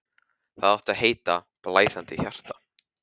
Það átti að heita: Blæðandi hjarta.